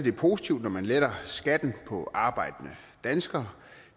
er positivt når man letter skatten på arbejdende danskere